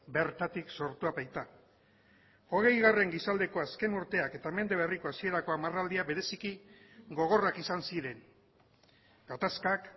bertatik sortua baita hogeigarren gizaldeko azken urteak eta mende berriko hasierako hamarraldia bereziki gogorrak izan ziren gatazkak